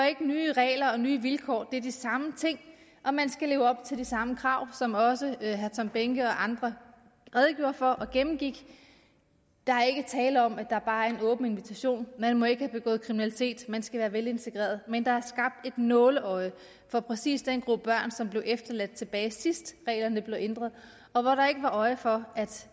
nye regler og nye vilkår det er de samme ting der og man skal leve op til de samme krav som også herre tom behnke og andre redegjorde for og gennemgik der er ikke tale om at der bare er en åben invitation man må ikke have begået kriminalitet man skal være velintegreret men der er skabt et nåleøje for præcis den gruppe børn som blev ladt tilbage sidst reglerne blev ændret og hvor der ikke var øje for at